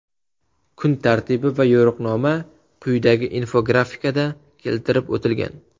Kun tartibi va yo‘riqnoma quyidagi infografikada keltirib o‘tilgan.